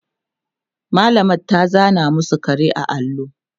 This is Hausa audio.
mallamar ta zana masu kare a allo